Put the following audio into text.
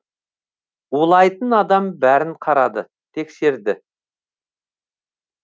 улайтын адам бәрін қарады тексерді